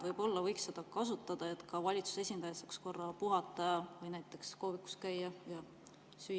Võib-olla võiks seda kasutada, et ka valitsuse esindaja saaks korra puhata ning näiteks kohvikus käia ja süüa.